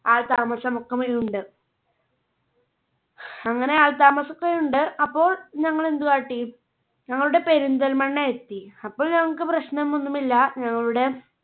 ആൾ താമസമൊക്കെ മിണ്ട്. അങ്ങനെ ആൾ താമസം ഒക്കെ ഉണ്ട് അപ്പോൾ ഞങ്ങൾ എന്ത് കാട്ടി ഞങ്ങളുടെ പെരിന്തൽമണ്ണ എത്തി അപ്പോൾ ഞങ്ങൾക്ക് പ്രശ്നമൊന്നുമില്ല ഞങ്ങളുടെ